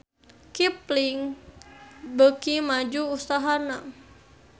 Kipling beuki maju usahana